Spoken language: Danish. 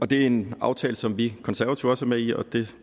det er en aftale som vi konservative også er med i og vi